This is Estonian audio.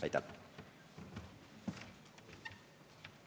Aitäh!